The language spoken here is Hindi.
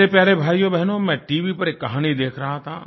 मेरे प्यारे भाइयोबहनो मैं टीवी पर एक कहानी देख रहा था